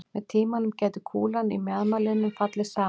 Með tímanum gæti kúlan í mjaðmarliðnum fallið saman.